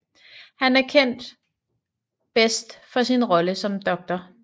Han er bedst kendt for sin rolle som Dr